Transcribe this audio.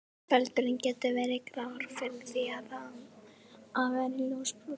Feldurinn getur verið grár yfir í það að vera ljósbrúnn.